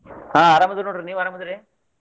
ಹಾ ಆರಾಮ್ ಅದೇವ್ರಿ ನೋಡ್ರಿ ನೀವ್ ಆರಾಮ್ ಅದೇರಿ?